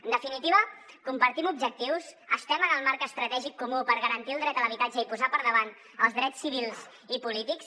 en definitiva compartim objectius estem en el marc estratègic comú per garantir el dret a l’habitatge i posar per davant els drets civils i polítics